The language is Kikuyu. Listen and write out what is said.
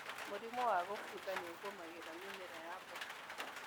Mũrimũ wa kũbutha nĩũgũmagĩra mĩmera ya mboga.